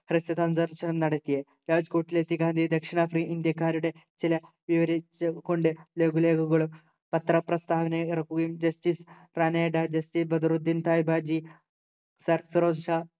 ഹ്രസ്വസന്ദർശനം നടത്തി രാജ്കോട്ടിലെത്തിയ ഗാന്ധി ദക്ഷിണാഫ്രി ഇന്ത്യക്കാരുടെ ചില വിവരിച്ച കൊണ്ട് ലഘുലേഖകകളും പത്രപ്രസ്ഥാവന ഇറക്കുകയും justice ബദറുദ്ദീൻ തയ്ബാജി സർഫെറോസ് ഷാ